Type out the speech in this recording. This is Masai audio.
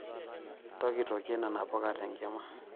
Ntokitokie nena puka tenkima.